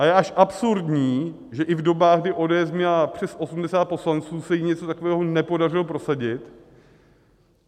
A je až absurdní, že i v dobách, kdy ODS měla přes 80 poslanců, se jí něco takového nepodařilo prosadit.